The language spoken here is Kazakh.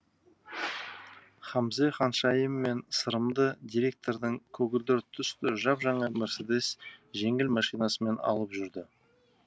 хамзе ханшайым мен сырымды директордың көгілдір түсті жап жаңа мерседес жеңіл машинасымен алып жүрді